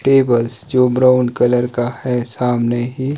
tables जो brown colour का है सामने ही--